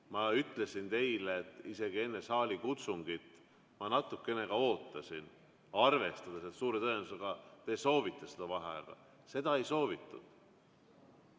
Ma ütlesin teile, et isegi enne saalikutsungit ma natukene ootasin, arvestades, et suure tõenäosusega te soovite vaheaega – seda ei soovitud.